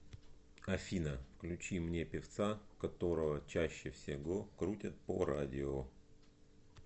афина включи мне певца которого чаще всего крутят по радио